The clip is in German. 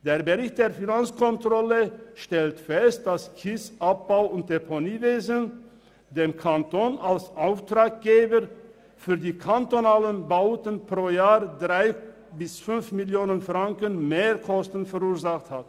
Der Bericht der Finanzkontrolle stellt fest, dass das Kiesabbau- und Deponiewesen dem Kanton als Auftraggeber für die kantonalen Bauten pro Jahr 3 bis 5 Mio. Franken Mehrkosten verursacht hat.